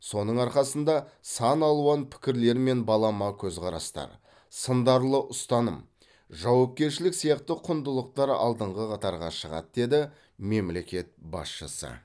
соның арқасында саналуан пікірлер мен балама көзқарастар сындарлы ұстаным жауапкершілік сияқты құндылықтар алдыңғы қатарға шығады деді мемлекет басшысы